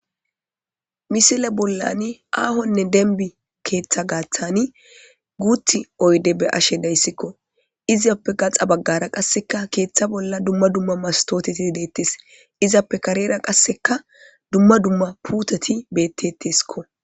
misile bollani aahonne denbi keeththa gaaththani guuth oyde be ashe dayssikko iziappe gaxa baggara qasseka keeththa bolla dumma dumma mastooteti deettes izappe karera qasseka dumma dumma putoti betteteskko